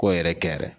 Ko yɛrɛ kɛ yɛrɛ